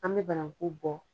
An mi bananku bɔ